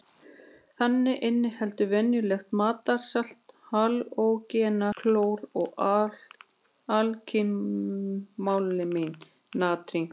Þannig inniheldur venjulegt matarsalt halógenann klór og alkalímálminn natrín.